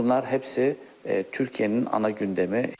Bunlar hepsi Türkiyənin ana gündəmi.